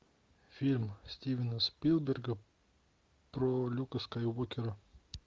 фильм стивена спилберга про люка скайуокера